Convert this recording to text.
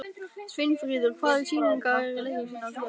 Sveinfríður, hvaða sýningar eru í leikhúsinu á þriðjudaginn?